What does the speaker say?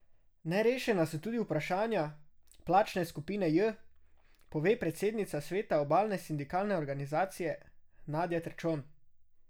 Nerešena so tudi vprašanja plačne skupine J, pove predsednica sveta Obalne sindikalne organizacije Nadja Terčon.